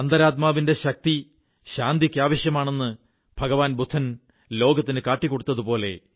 അന്തരാത്മാവിന്റെ ശക്തി ശാന്തിക്ക് ആവശ്യമാണെന്ന് ഭഗവാൻ ബുദ്ധൻ ലോകത്തിനു കാട്ടിക്കൊടുത്തു